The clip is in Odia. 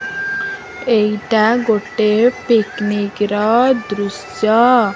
ଏଇଟା ଗୋଟେ ପିକନିକ୍ ର ଦୃଶ୍ୟ ଅ --